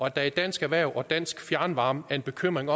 at der i dansk erhverv og dansk fjernvarme er en bekymring